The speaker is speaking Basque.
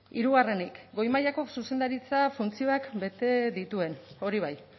hirugarrenik goi mailako zuzendaritza funtzioak bete dituen hori bai